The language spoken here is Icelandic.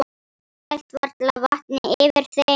Hélt varla vatni yfir þeim.